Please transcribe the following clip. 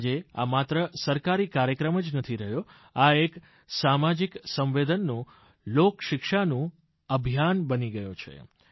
આજે આ માત્ર સરકારી કાર્યક્રમ જ નથી રહ્યો આ એક સામાજિક સંવેદનનું લોકશિક્ષાનું અભિયાન બની ગયુ છે